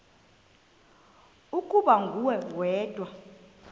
ukuba nguwe wedwa